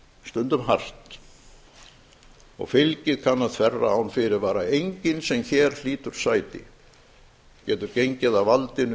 stundum hart og fylgið kann að þverra án fyrirvara enginn sem hér hlýtur sæti getur gengið að valdinu